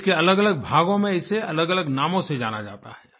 देश के अलगअलग भागों में इसे अलगअलग नामों से जाना जाता है